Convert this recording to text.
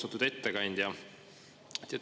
Austatud ettekandja!